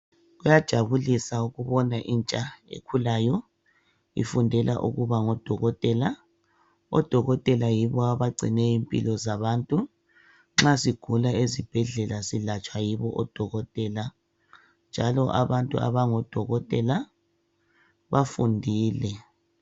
Kuyajabulisa ukubona intsha ekhulayo. ifundela ukuba ngodokotela. Odokotela yibo abagcine impilo zabantu nxa sigula ezibhedlela silatshwa yibo odokotela njalo abantu abango dokotela bafundile.